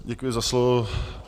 Děkuji za slovo.